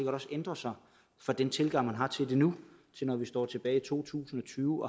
også ændrer sig fra den tilgang man har til det nu og til to tusind og tyve